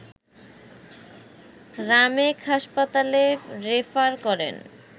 রামেক হাসপাতালে রেফার করেন